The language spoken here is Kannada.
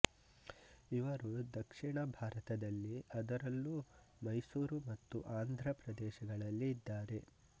ಇವರು ದಕ್ಷಿಣ ಭಾರತದಲ್ಲಿ ಅದರಲ್ಲೂ ಮೈಸೂರು ಮತ್ತು ಆಂಧ್ರ ಪ್ರದೇಶಗಳಲ್ಲಿ ಇದ್ದಾರೆ